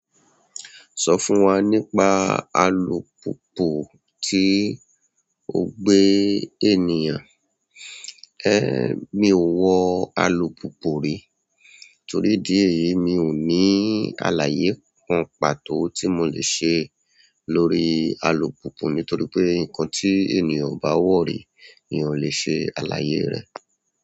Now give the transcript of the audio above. Sọ fún wa nípa alùpùpù tí o gbé ènìyàn. Ẹ̀, mi ò wọ alùpùpù rí torí idi ẹ̀yìí mi ò ní alàyé kan pàtó tí mo lè ṣe lórí alùpùpù nítorí pé nǹkan tí ènìyàn o bá wọ̀ rí eeyan o lè ṣe alàyé rẹ̀.